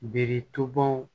Biritɔnw